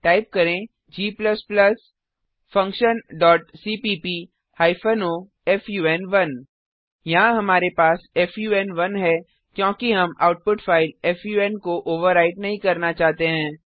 type करें g functionसीपीप o फुन1 यहाँ हमारे पास फुन1 है क्योंकि हम आउटपुट फाइल फुन को ओवरराइट नहीं करना चाहते हैं